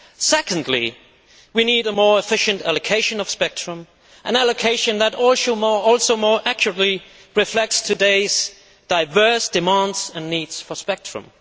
Secondly, we need a more efficient allocation of spectrum an allocation that also more actively reflects today's diverse demands and needs for spectrum.